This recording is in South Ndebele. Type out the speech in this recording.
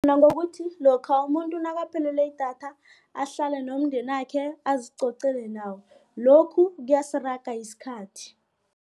Nangokuthi lokha umuntu nakaphelelwe yidatha ahlale nomndenakhe azicocela nawo lokhu kuyasiraga isikhathi.